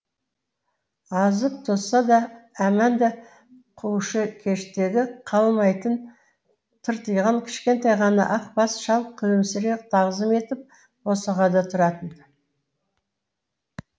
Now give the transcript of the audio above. азып тозса да әманда қушыкештігі қалмайтын тыртиған кішкентай ғана ақ бас шал күлімсірей тағзым етіп босағада тұратын